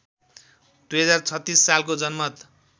२०३६ सालको जनमत